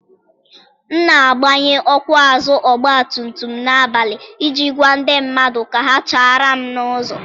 M na-agbanye ọkụ azụ ọgba tum tum n'abalị iji gwa ndị mmadụ ka ha chaara m n'ụzọ.